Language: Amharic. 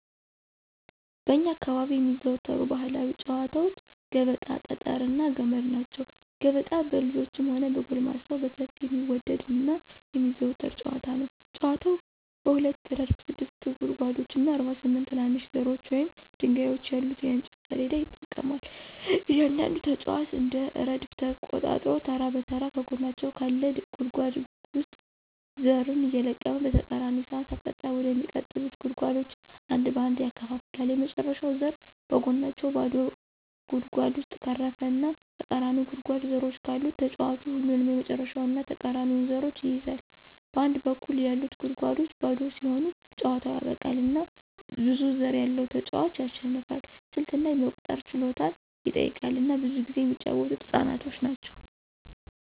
በእኛ አካባቢ የሚዘወተሩ ባህላዊ ጨዋታወች ገበጣ፣ ጠጠር እና ገመድ ናቸው። ገበጣ በልጆችም ሆነ በጎልማሶች በሰፊው የሚወደድ እና የሚዘወተር ጨዋታ ነው። ጨዋታው በሁለት ረድፍ ስድስት ጉድጓዶች እና 48 ትናንሽ ዘሮች ወይም ድንጋዮች ያሉት የእንጨት ሰሌዳ ይጠቀማል. እያንዳንዱ ተጫዋች አንድ ረድፍ ተቆጣጥሮ ተራ በተራ ከጎናቸው ካለ ጉድጓድ ውስጥ ዘርን እየለቀመ በተቃራኒ ሰዓት አቅጣጫ ወደሚቀጥሉት ጉድጓዶች አንድ በአንድ ያከፋፍላል። የመጨረሻው ዘር በጎናቸው ባዶ ጉድጓድ ውስጥ ካረፈ እና ተቃራኒው ጉድጓድ ዘሮች ካሉት ተጫዋቹ ሁለቱንም የመጨረሻውን እና ተቃራኒውን ዘሮች ይይዛል. በአንድ በኩል ያሉት ጉድጓዶች ባዶ ሲሆኑ ጨዋታው ያበቃል፣ እና ብዙ ዘር ያለው ተጫዋች ያሸንፋል። ስልት እና የመቁጠር ችሎታን ይጠይቃል፣ እና ብዙ ጊዜ የሚጫወተው ህፃናት ናቸው።